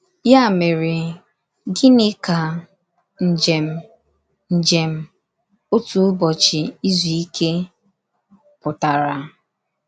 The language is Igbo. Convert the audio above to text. Ya mere, gịnị ka ‘ njem njem otu ụbọchị izu ike ’ pụtara?